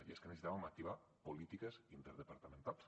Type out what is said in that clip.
i és que necessitàvem activar polítiques interdepartamentals